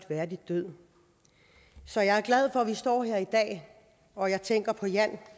værdig død så jeg er glad for at vi står her i dag og jeg tænker på jan